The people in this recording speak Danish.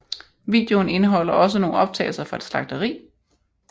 Videoen indeholder også nogle optagelser fra et slagteri